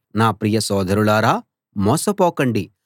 నా ప్రియ సోదరులారా మోసపోకండి